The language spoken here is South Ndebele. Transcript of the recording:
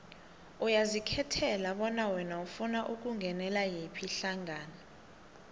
uyazikhethela bona wena ufuna ukungenela yiphi ihlangano